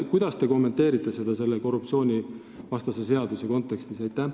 Kuidas te kommenteerite seda korruptsioonivastase seaduse kontekstis?